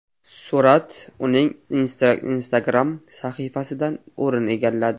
Surat uning Instagram sahifasidan o‘rin egalladi .